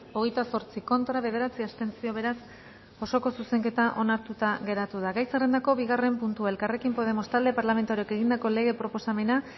hogeita zortzi contra bederatzi abstentzio beraz osoko zuzenketa onartuta geratu da gai zerrendako bigarren puntua elkarrekin podemos talde parlamentarioak egindako lege proposamena